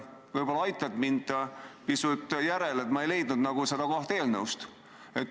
Võib-olla aitad mind pisut järele, ma ei leidnud seda kohta eelnõust.